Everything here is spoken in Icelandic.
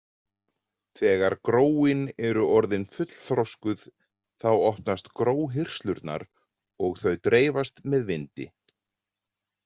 Þegar gróin eru orðin fullþroskuð þá opnast gróhirslurnar og þau dreifast með vindi.